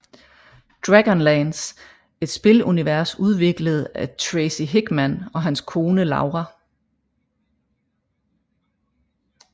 Dragonlance Et spilunivers udviklet af Tracy Hickman og hans kone Laura